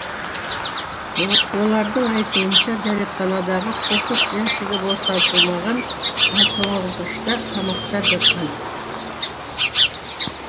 олардың айтуынша дәретханадағы қоқыс жәшігі босатылмаған ал тоңазытқышта тамақтар жатқан